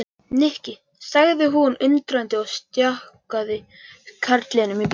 Nikki sagði hún undrandi og stjakaði karlinum í burtu.